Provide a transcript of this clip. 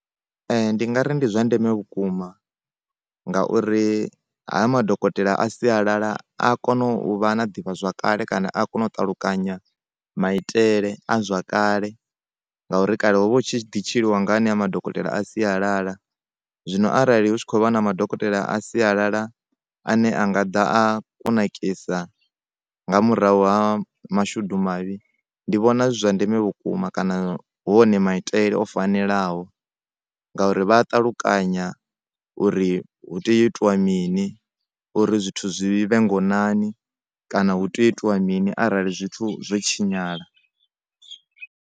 Ndi ngari ndi zwa ndeme vhukuma ngauri ha ya madokotela a sialala a kona u vha na ḓivha zwakale kana a kona u ṱalukanya maitele a zwa kale ngauri kale ho vha hu tshi ḓi tshiliwa nga ane madokotela a sialala, zwino arali hu tshi kho vha na madokotela a sialala ane a nga ḓa a kunakisa nga murahu ha mashudu mavhi ndi vhona zwi zwa ndeme vhukuma kana hu one maitele o fanelaho ngauri vha ṱatukanya uri hu tea u itea mini uri zwithu zwivhe ngonani kana hu tea u itea mini arali zwithu zwo tshinyala.